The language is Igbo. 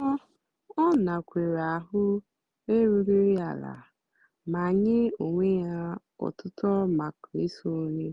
ọ́ ọ́ nàkwééré áhụ̀ érúghị́ àlà mà nyé ónwé yá ótútó màkà ísónyé.